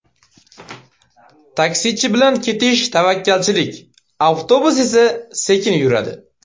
Taksichi bilan ketish tavakkalchilik, avtobus esa sekin yuradi.